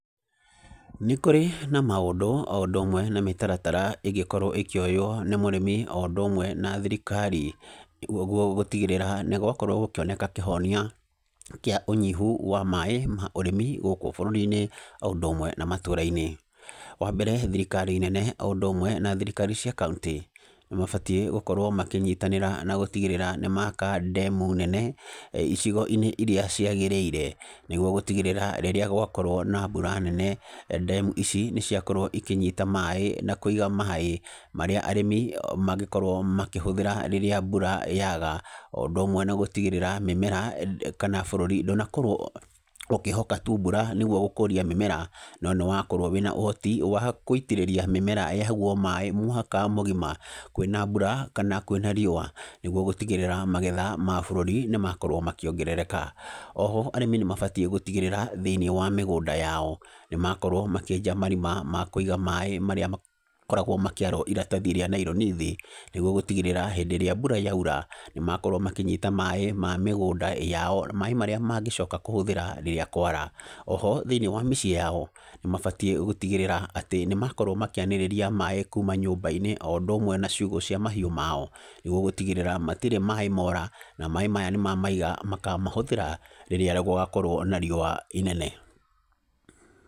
Nĩ kũrĩ na maũndũ, o ũndũ ũmwe na mĩtaratara ĩngĩkorwo ĩkĩoywo nĩ mũrĩmi o ũndũ ũmwe na thirikari, koguo gũtigĩrĩra nĩgwakorwo gũkĩoneka kĩhonia kĩa ũnyihu wa maĩ ma ũrĩmi gũkũ bũrũri-inĩ o ũndũ ũmwe na matũra-inĩ, wambere thirikari nene o úndú ũmwe na thirikari cia kauntĩ, nĩmabatiĩ gúkorwo makĩnyitanĩra na gũtigĩrĩra nĩmaka ndemu nene icigo-inĩ iria cĩagĩrĩire, nĩguo gũtigĩrĩra rĩrĩa gwakorwo na mbura nene ndemu ici nĩciakorwo ikĩnyita maĩ na kũiga maĩ, marĩa arĩmi mangĩkorwo makĩhũthĩra rĩria mbura yaga, o ũndũ ũmwe na gũtigĩrĩra mĩmera kana bũrũri ndũnakorwo wĩ ũkĩhoka tu mbura nĩguo gũkũria mĩmera, no nĩwakorwo wĩna ũhoti wa kũitĩrĩria mĩmera ĩheagwo maĩ mwaka mũgima, kwĩna mbura kana kwĩna riũa, nĩguo gũtigĩrĩra magetha ma bũrũri nĩmakorwo makĩongerereka, oho arĩmi nĩmabatiĩ gũtigirĩra thĩ-inĩ wa mĩgũnda yao nímakorwo makĩenja marima ma kũiga maĩ marĩa makoragwo makĩarwo iratathi rĩa naironi thĩ, nĩguo gũtigĩrĩra hĩndĩ ĩrĩa mbura yaura nĩmakorwo makĩnyita maĩ ma mĩgũnda yao, maĩ maría mangĩcoka kũhũthĩra rĩrĩa kwara, oho thĩ-inĩ wa mĩciĩ yao nĩmabatiĩ gũtigĩrĩra atĩ nĩmakorwo makĩanĩrĩria maĩ kuma nyũmba-inĩ, o ũndú ũmwe na ciugũ cia mahiũ mao, nĩguo gũtigĩrĩra gũtirĩ na maĩ mora, na maĩ maya mamamiga makamahũthĩra rĩrĩa gũgakorwo na riũa inene.